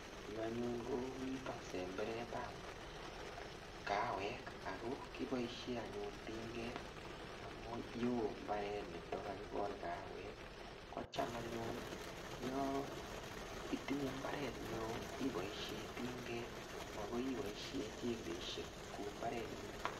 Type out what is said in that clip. Yu anyun, ko nitok semberatap kawek. Ako kiboisie anyun tinget. Amu yeoo mbaret nitok kakikol kawek. Kocham anyun, yaitinye mbaret ne oo, iboisie tinget. Makoi iboisie jembeisiek kou mbaret ne mining.